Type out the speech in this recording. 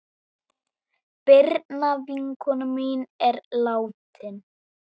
Birna vinkona mín er látin.